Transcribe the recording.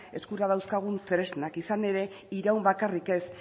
eskura dauzkagun tresnak izan ere iraun bakarrik ez